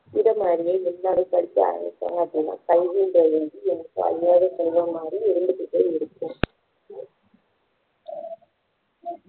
இது மாதிரியே எல்லாரும் படிக்க ஆரம்பிச்சாங்க அப்படின்னா கல்வின்றது வந்து என்னைக்கும் அழியாத செல்வம் மாதிரி இருந்துகிட்டே இருக்கும்